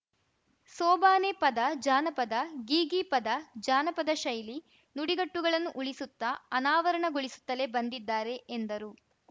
ಸೋಬಾನೆ ಪದ ಜಾನಪದ ಗೀಗೀ ಪದ ಜಾನಪದ ಶೈಲಿ ನುಡಿಗಟ್ಟುಗಳನ್ನು ಉಳಿಸುತ್ತ ಅನಾವರಣಗೊಳಿಸುತ್ತಲೇ ಬಂದಿದ್ದಾರೆ ಎಂದರು